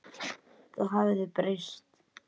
Það hafði breyst.